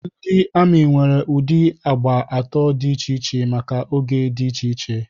Ndị amị nwere ụdị agba atọ dị iche iche maka oge dị iche iche.